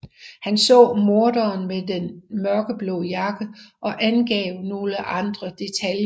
Han så morderen med en mørkeblå jakke og angav nogle andre detaljer